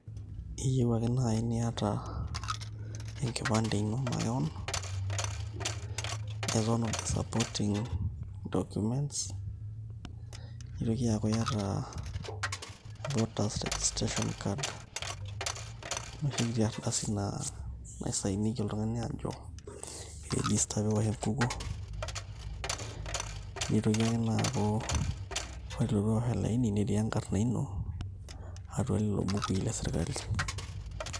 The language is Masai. keyieu akee naii niata enkipande ino makewon as one of the supportive documents nitokii aaku iyata voters registration card nooshii kiti ardasi na sign oldungani ajo iregistaki nitoki ake ina aaku koree piiwosh olaini netii enkarna ino atuaa lelo bukui le sirikali